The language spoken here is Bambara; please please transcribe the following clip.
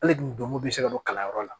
Hali n'u donko bɛ se ka don kalanyɔrɔ la